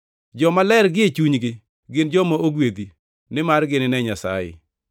Jomaler gie chunygi gin joma ogwedhi, nimar ginine Nyasaye.